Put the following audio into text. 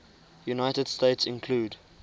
united states include